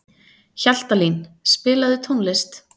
Hjaltalín, spilaðu tónlist.